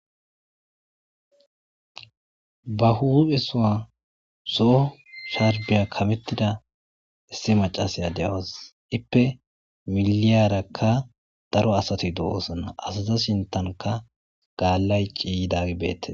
Ba huphe sowa so sharphe kametida issi macasiya de'awus,ippe miliyaraka daro asat de'osona ipe miliyaraka daro asat dosona asata sintanka dalay ke'idagey betes